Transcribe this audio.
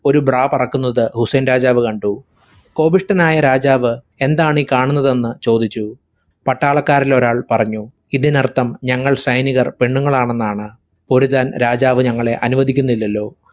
ഒരു bra പറക്കുന്നത് ഹുസൈൻ രാജാവ് കണ്ടു. കോപിഷ്ഠനായ രാജാവ് എന്താണീ കാണുന്നതെന്ന് ചോദിച്ചു. പട്ടാളക്കാരിൽ ഒരാൾ പറഞ്ഞു ഇതിനർത്ഥം ഞങ്ങൾ സൈനികർ പെണ്ണുങ്ങളാണെന്നാണ്. പൊരുതാൻ രാജാവ് ഞങ്ങളെ അനുവദിക്കുന്നില്ലല്ലോ.